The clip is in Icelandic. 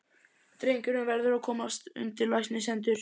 Drengurinn verður að komast undir læknishendur.